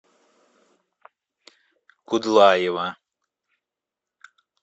кудлаева